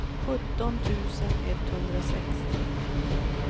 sjutton tusen etthundrasextio